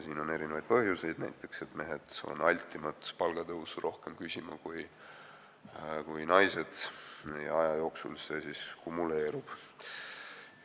Siin on erinevaid põhjuseid, näiteks see, et mehed on altimad palgatõusu küsima kui naised ja aja jooksul see siis kumuleerub.